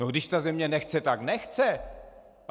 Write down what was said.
No když ta země nechce, tak nechce.